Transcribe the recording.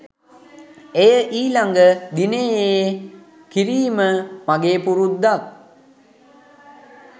එය ඊළඟ දිනයේ කිරීම මගේ පුරුද්දක්.